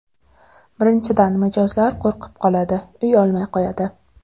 Birinchidan, mijozlar qo‘rqib qoladi, uy olmay qo‘yadi.